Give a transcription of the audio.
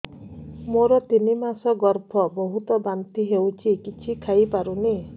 ମୋର ତିନି ମାସ ଗର୍ଭ ବହୁତ ବାନ୍ତି ହେଉଛି କିଛି ଖାଇ ପାରୁନି